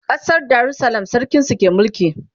ƙasar darussalam sarkin su ke mulki